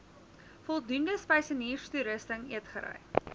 voldoende spysenierstoerusting eetgery